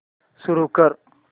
सुरू कर